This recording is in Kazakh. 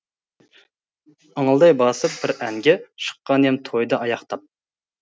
ыңылдай басып бір әнге шыққан ем тойды аяқтап